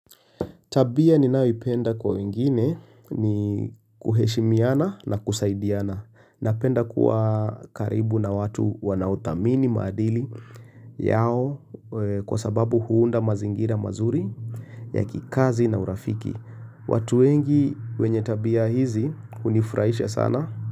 Tabia ninayoipenda kwa wengine ni kuheshimiana na kusaidiana. Napenda kuwa karibu na watu wanaothamini maadili yao kwa sababu huunda mazingira mazuri ya kikazi na urafiki. Watu wengi wenye tabia hizi hunifurahisha sana.